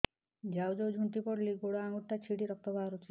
ଯାଉ ଯାଉ ଝୁଣ୍ଟି ପଡ଼ିଲି ଗୋଡ଼ ଆଂଗୁଳିଟା ଛିଣ୍ଡି ରକ୍ତ ବାହାରୁଚି